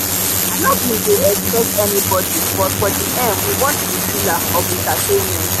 i no bin dey expect anybody but for the end we watch the thriller of entertainment.